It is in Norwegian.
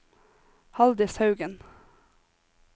Haldis Haugen